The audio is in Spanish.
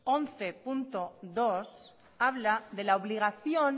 once punto dos habla de la obligación